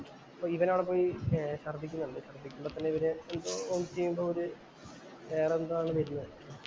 അപ്പൊ ഇവനവിടെ പോയി ശര്‍ദ്ദിക്കുന്നുണ്ട്. ശര്‍ദ്ദിക്കുമ്പോ തന്നെ ഇവന് എന്തോ ഓമിറ്റ് ചെയ്യുമ്പോ ഒരു വേറെ എന്തോ ആണ് വരുന്നത്.